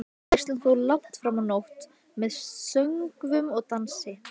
Veislan stóð langt fram á nótt með söngvum og dansi.